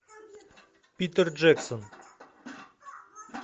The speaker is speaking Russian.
питер джексон